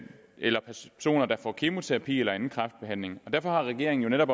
eller personer der får kemoterapi eller anden kræftbehandling derfor har regeringen netop